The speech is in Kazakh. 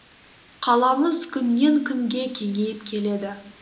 қаламыз күннен күнге кеңейіп келеді